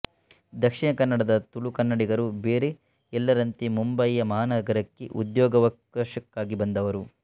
ದಕ್ಷಿಣಕನ್ನಡದ ತುಳುಕನ್ನಡಿಗರು ಬೇರೆ ಎಲ್ಲರಂತೆ ಮುಂಬಯಿ ಮಹಾನಗರಕ್ಕೆ ಉದ್ಯೋಗಾವಕಾಶಕ್ಕಾಗಿ ಬಂದವರು